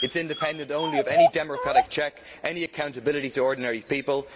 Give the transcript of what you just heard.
It is independent only of any democratic checks and any accountability to ordinary people.